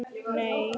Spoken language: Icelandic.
Nei, ekki það!